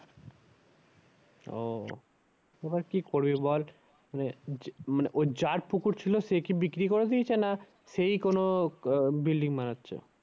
ওহ এবার কি করবি বল মানে যার পুকুর ছিল সে কি বিক্রি করে দিয়েছে না সেই কোনো আহ building বানাচ্ছে?